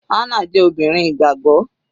Hannah jẹ́ obìnrin ìgbàgbọ́.